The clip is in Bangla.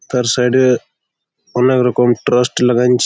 তার সাইড -এ অনেক রকম প্রোস্ট লাগায়েছি।